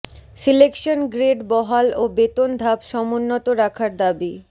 selection grade বহাল ও বেতন ধাপ সমুন্নত রাখার দাবি